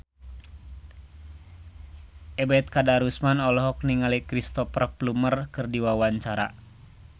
Ebet Kadarusman olohok ningali Cristhoper Plumer keur diwawancara